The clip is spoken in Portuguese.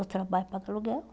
Eu trabalho pago aluguel.